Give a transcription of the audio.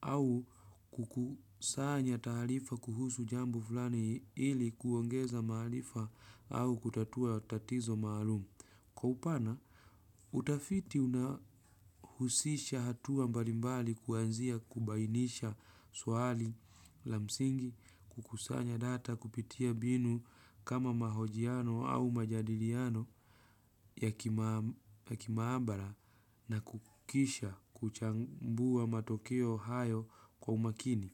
au kukusanya tahalifa kuhusu jambo fulani hili kuongeza mahalifa au kutatua tatizo maaalumu. Kwa upana, utafiti unahusisha hatua mbalimbali kuanzia kubainisha swali la msingi kukusanya data kupitia binu kama mahojiano au majadiliano ya kimambara na kukisha kuchambua matokeo hayo kwa umakini.